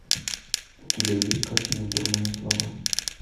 у тебя есть картина дурная слава